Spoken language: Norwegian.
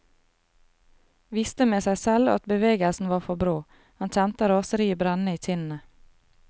Visste med seg selv at bevegelsen var for brå, han kjente raseriet brenne i kinnene.